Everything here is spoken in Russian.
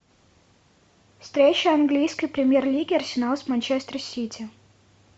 встреча английской премьер лиги арсенал с манчестер сити